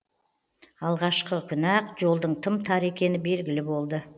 алғашқы күні ақ жолдың тым тар екені белгілі болды